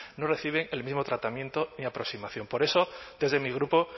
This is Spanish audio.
no reciben el mismo tratamiento ni aproximación por eso desde mi grupo